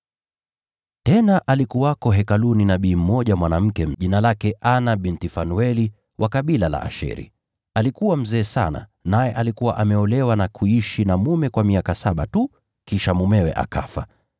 Tena alikuwako Hekaluni nabii mmoja mwanamke, jina lake Ana binti Fanueli, wa kabila la Asheri. Alikuwa mzee sana; naye alikuwa ameolewa na kuishi na mume kwa miaka saba tu, kisha mumewe akafa.